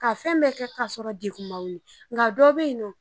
Ka fɛn bɛ kɛ k'a sɔrɔ degun ma wuli n ka dɔ bɛ yen nɔ.